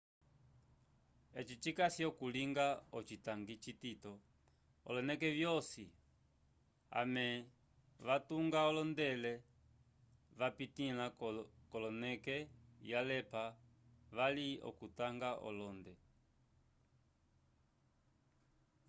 eci cikasi okulinga ocitangi citito oloneke vyosi amesene vatunga olende vapitila konele yalepa vali okutunga olende